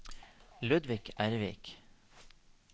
Ludvig Ervik